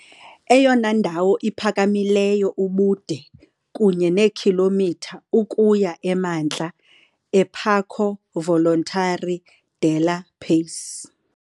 Eyona ndawo iphakamileyo ubude kunye neekhilomitha ukuya emantla eParco Volontari della Pace.